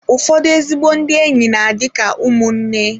Ụfọdụ ezigbo ndị enyi na-adị ka ụmụnne.